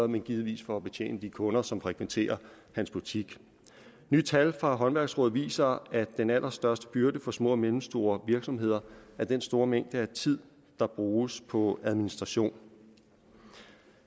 men givetvis for at betjene de kunder som frekventerer hans butik nye tal fra håndværksrådet viser at den allerstørste byrde for små og mellemstore virksomheder er den store mængde af tid der bruges på administration